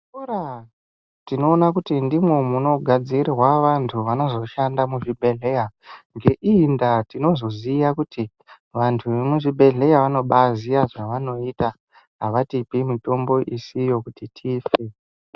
Muzvikora tinoona kuti ndimwo munogadzirwa vantu vanozoshanda muzvibhehleya ngeiyi ndaa tinozoziya kuti vanhu vemuzvibhehleya vanobaziya zvavanoita havatipe mitombo isiyo kuti tife.